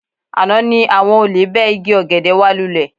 Àná ni àwọn olè bẹ́ igi ọ̀gẹ̀dẹ̀ wa lúlẹ